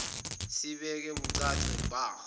sibeke bucace bha